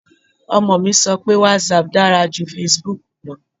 Ọmọ mi sọ pé whatsapp dára ju facebook lọ